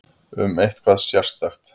Um eitthvað sérstakt?